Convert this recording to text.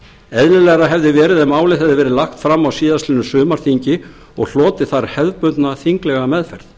eðlilegra hefði verið ef málið hefði verið lagt fram á síðastliðnum sumarþingi og hlotið þar hefðbundna þinglega meðferð